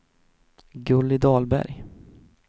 Gulli Dahlberg